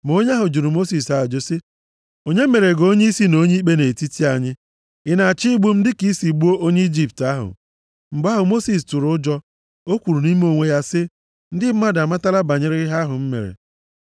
Ma onye ahụ jụrụ Mosis ajụjụ sị, “Onye mere gị onyeisi na onye ikpe nʼetiti anyị? Ị na-achọ igbu m dị ka i si gbuo onye Ijipt ahụ?” Mgbe ahụ Mosis tụrụ ụjọ. O kwuru nʼime onwe ya sị, “Ndị mmadụ amatala banyere ihe ahụ m mere.”